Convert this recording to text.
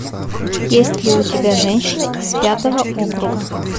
есть ли у тебя женщина из пятого округа